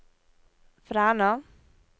Fræna